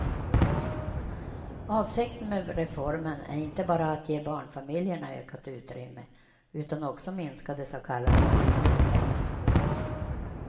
Avsikten med reformen är inte bara att ge barnfamiljerna ökat utrymme utan också minska de så kallade marginaleffekterna.